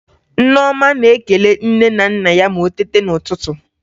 Nneọma na-ekele nne na nna ya ma o teta n'ụtụtụ